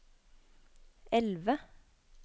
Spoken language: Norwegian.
elve